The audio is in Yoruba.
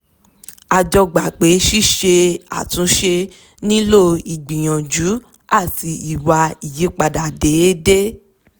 a jọ gbà pé ṣíse àtúnṣe nílò ígbìyànjú àti ìwà ìyípadà déédé